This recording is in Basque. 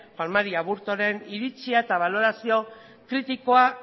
juan mari aburtoren iritzia eta balorazio kritikoa